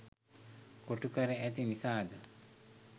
කොටු කර ඇති නිසා ද?